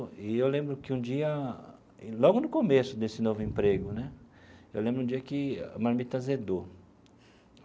E eu lembro que um dia, logo no começo desse novo emprego né, eu lembro de um dia que a marmita azedou.